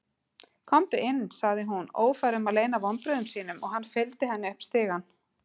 Komdu inn, sagði hún- ófær um að leyna vonbrigðunum- og hann fylgdi henni upp stigann.